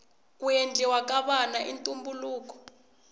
ku endliwa ka vana i ntumbuluko